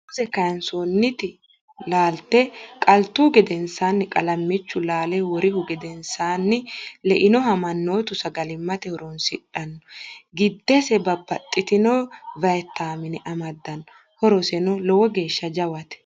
muuze kaansooniti laalte qalituhu gedensaanni qalimmichu laale worihu gedensaanni leinoha mannotu sagallimate horoonsidhanno. giddise babbaxxitinno vayitame amadanno. horoseno lowo geeshsha jawate.